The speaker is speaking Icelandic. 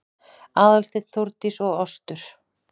Aðalsteinn, Þórdís og Ostur